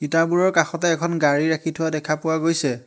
ইটাবোৰৰ কাষতে এখন গাড়ী ৰাখি থোৱা দেখা পোৱা গৈছে।